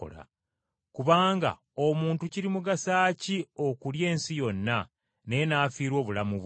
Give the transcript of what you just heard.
Kubanga omuntu kirimugasa ki okulya ensi yonna, naye n’afiirwa obulamu bwe?